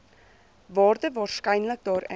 waarde waarskynlik daarin